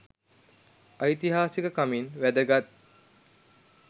ඓතිහාසික කමින් වැදගත්